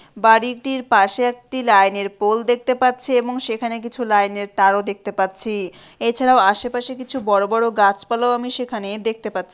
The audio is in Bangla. বাড়িটির পাশে একটি লাইনের পোল দেখতে পাচ্ছি এবং সেখানে কিছু লাইনের তারও দেখতে পাচ্ছি। এছাড়া ও আশেপাশে কিছু বড়ো বড়ো গাছপালাও আমি সেখানে দেখতে পাচ্ছি।